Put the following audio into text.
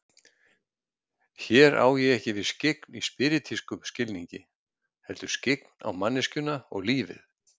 Hér á ég ekki við skyggn í spíritískum skilningi, heldur skyggn á manneskjuna og lífið.